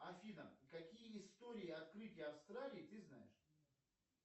афина какие истории открытия австралии ты знаешь